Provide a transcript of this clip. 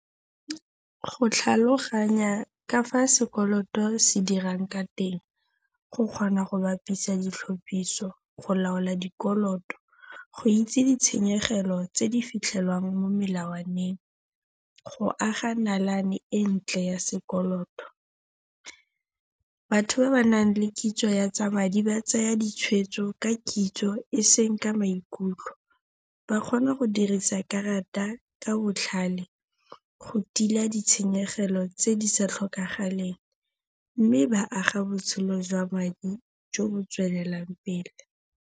Go tlhaloganya ka fa sekoloto se dirang ka teng. Go kgona go bapisa ditlhapiso go laola dikoloto. Go itse ditshenyegelo tse di fitlhelwang mo molatswaneng. Go aga nalane e ntle ya sekoloto. Batho ba ba nang le kitso ya tsa madi ba tsaya ditshwetso ka kitso eseng ka maikutlo. Ba kgona go dirisa karata ka botlhale, go tila ditshenyegelo tse di sa tlhokagaleng. Mme ba aga botshelo jwa madi jo bo tswelelang pele.